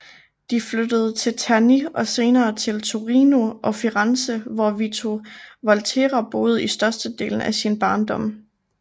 De flyttede til Terni og senere til Torino og Firenze hvor Vito Volterra boede i størstedelen af sin barndom